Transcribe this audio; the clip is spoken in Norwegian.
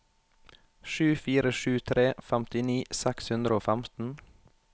sju fire sju tre femtini seks hundre og femten